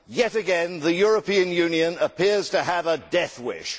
Yet again the European Union appears to have a death wish.